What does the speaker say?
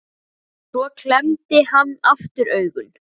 En Týri lét þessi ummæli ekki spilla gleði sinni.